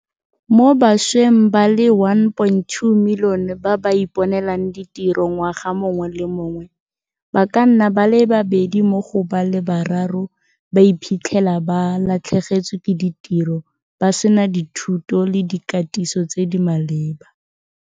Mo bašweng ba le 1.2 milione ba ba iponelang ditiro ngwaga mongwe le mongwe, ba ka nna ba le babedi mo go ba le bararo ba iphitlhela ba latlhegetswe ke ditiro, ba sena dithuto le dikatiso tse di maleba.